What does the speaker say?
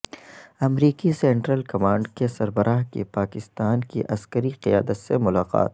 امریکی central command کے سربراہ کی پاکستان کی عسکری قیادت سے ملاقات